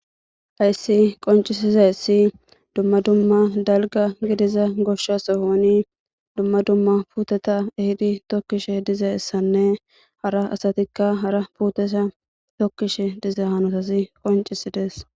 hayssi qoncisiza issi dumma dumma dalga gidiza goshsha sohoni dumma dumma puuteta ehidi tokkishe diza issanne hara asatikka hara puteta tokkishe diza hanotasi qoncisidees